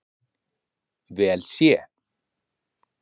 vel sé.